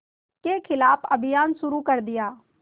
के ख़िलाफ़ अभियान शुरू कर दिया